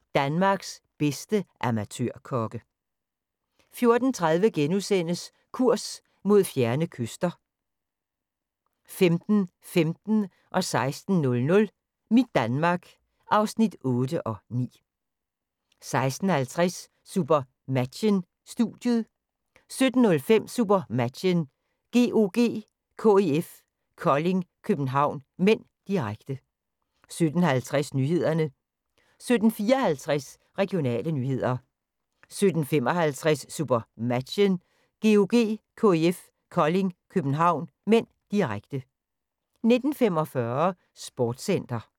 13:45: Danmarks bedste amatørkokke 14:30: Kurs mod fjerne kyster (4:7)* 15:15: Mit Danmark (8:9) 16:00: Mit Danmark (9:9) 16:50: SuperMatchen: Studiet 17:05: SuperMatchen: GOG-KIF Kolding København (m), direkte 17:50: Nyhederne 17:54: Regionale nyheder 17:55: SuperMatchen: GOG-KIF Kolding København (m), direkte 19:45: Sportscenter